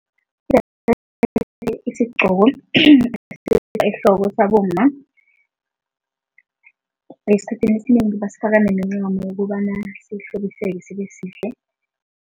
Isigqoko ehloko sabomma. Esikhathini esinengi basifaka nemincamo ukobana sihlobiseke sibesihle.